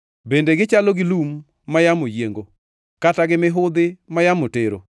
Bende gi chalo gi lum ma yamo yiengo, kata gi mihudhi ma yamo tero?